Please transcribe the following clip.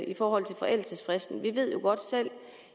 i forhold til forældelsesfristen vi ved jo godt selv